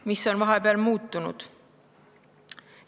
Mis on vahepeal muutunud?